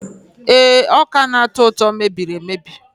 Ee, ọka na-atọ ụtọ mebiri emebi.